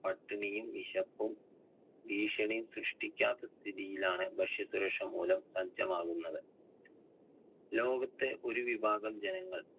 പട്ടിണിയും വിശപ്പും ഭീഷണിയും സൃഷ്ടിക്കാത്ത സ്ഥിതിയിൽ ആണ് ഭക്ഷ്യസുരക്ഷ മൂലം സജ്ജമാകുന്നത്. ലോകത്തെ ഒരു വിഭാഗം ജനങ്ങൾ